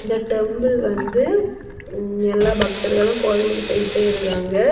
இந்த டெம்பிள் வந்து எல்லா பக்தர்களும் கோயிலுக்கு போயிட்டே இருக்காங்க.